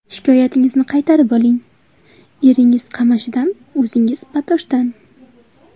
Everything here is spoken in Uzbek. Shikoyatingizni qaytarib oling, eringiz Qamashidan, o‘zingiz Batoshdan.